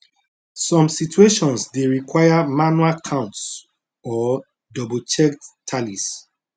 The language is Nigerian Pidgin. some situations dey require manual counts or doublechecked tallies